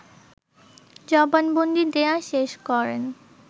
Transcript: জবানবন্দি দেয়া শেষ করেন